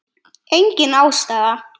Engin ástæða?